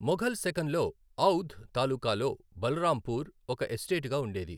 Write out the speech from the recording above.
మొఘల్ శకంలో ఔధ్ తాలూకాలో బలరాంపూర్ ఒక ఎస్టేటుగా ఉండేది.